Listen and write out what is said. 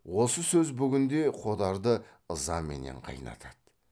осы сөз бүгін де қодарды ызаменен қайнатады